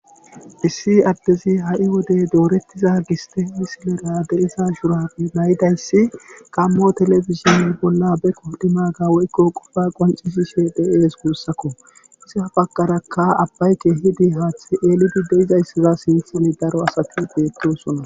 Issi addezi ha'i wode doretida giste misilera de'iza giste shurabe maydayssi gaamo telebizhinne bolla be qodimaaga woykko qofa qoccisishe de'ees guussakko. iza bagarakka abay keehidi haaththay eelid de'izayssa sinthan daro asati beetosona.